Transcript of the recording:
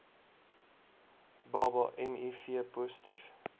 baba miv positief